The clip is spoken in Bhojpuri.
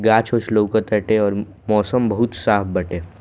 गाछ-उछ लौक ताटे और मौसम बहुत साफ बाटे।